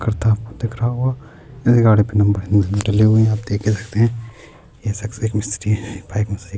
کرتا ہوا دکھ رہا ہوگا ، گڈی پی نمبر نہی ڈلا دکھ رہا ہے، جیسا ک دیکھ سکتے ہیں ، یہ سکسز مسترے ہے-